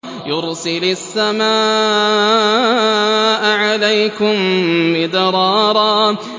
يُرْسِلِ السَّمَاءَ عَلَيْكُم مِّدْرَارًا